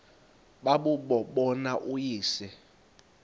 babuye bambone uyise